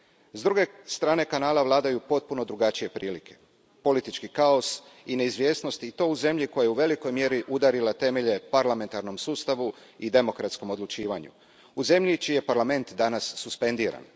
S druge strane Kanala vladaju potpuno drugačije prilike, politički kaos i neizvjesnost, i to u zemlji koja je u velikoj mjeri udarila temelje parlamentarnom sustavu i demokratskom odlučivanju, u zemlji čiji je Parlament danas suspendiran.